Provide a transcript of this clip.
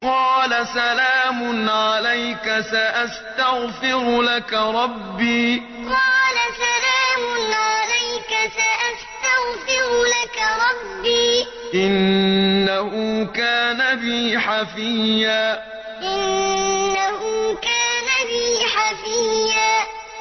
قَالَ سَلَامٌ عَلَيْكَ ۖ سَأَسْتَغْفِرُ لَكَ رَبِّي ۖ إِنَّهُ كَانَ بِي حَفِيًّا قَالَ سَلَامٌ عَلَيْكَ ۖ سَأَسْتَغْفِرُ لَكَ رَبِّي ۖ إِنَّهُ كَانَ بِي حَفِيًّا